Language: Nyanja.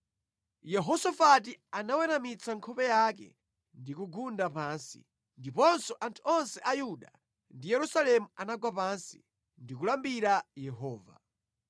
Yehosafati anaweramitsa nkhope yake ndi kugunda pansi, ndiponso anthu onse a Yuda ndi Yerusalemu anagwa pansi ndi kulambira Yehova.